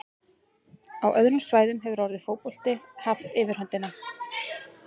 Á öðrum svæðum hefur orðið fótbolti haft yfirhöndina.